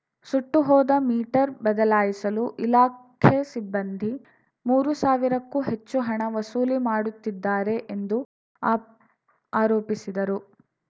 ಸುಟ್ಟುಹೋದ meter ಬದಲಾಯಿಸಲು ಇಲಾಖೆ ಸಿಬ್ಬಂದಿ ಮೂರು ಸಾವಿರಕ್ಕೂ ಹೆಚ್ಚು ಹಣ ವಸೂಲಿ ಮಾಡುತ್ತಿದ್ದಾರೆ ಎಂದು ಆಪ್ ಆರೋಪಿಸಿದರು